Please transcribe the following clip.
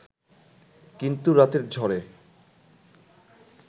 কিন্তু রাতের ঝড়ে